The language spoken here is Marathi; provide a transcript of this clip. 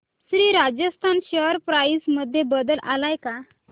श्री राजस्थान शेअर प्राइस मध्ये बदल आलाय का